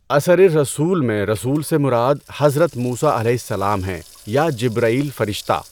اَثَرِ الرَّسُوْلِ میں رسول سے مراد حضرت موسیٰ علیہ السلام ہیں یا جبرئیل فرشتہ؟